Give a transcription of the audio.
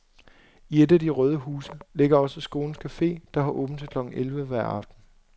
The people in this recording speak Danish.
I et af de røde huse ligger også skolens cafe, der har åben til klokken elleve hver aften.